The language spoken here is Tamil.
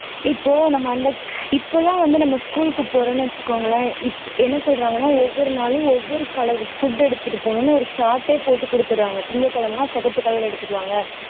இப்போ நம்ம அந்த இப்போலாம் வந்து நம்ம school க்கு போறோம்னு வச்சுக்கோங்களேன் இப் என்ன சொல்றாங்கன்னா நாளும் ஒவ்வொரு color food எடுத்துட்டு போகணும்னு ஒரு chart ஏ போட்டு கொடுத்துடுறாங்க திங்கள் கிழமைன்னா சிகப்பு color எடுத்திட்டு வாங்க